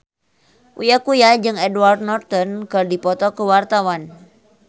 Uya Kuya jeung Edward Norton keur dipoto ku wartawan